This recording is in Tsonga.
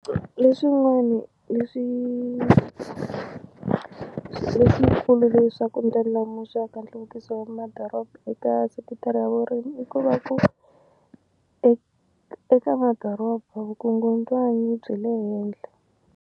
Leswin'wani leswi leswikulu leswaku ndlandlamuxaka nhluvukiso wa madoroba eka sekitara ya vurimi i ku va ku e eka madoroba vukungundzwani byi le henhla.